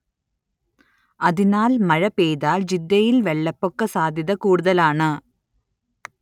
അതിനാൽ മഴ പെയ്താൽ ജിദ്ദയിൽ വെള്ളപ്പൊക്ക സാധ്യത കൂടുതലാണ്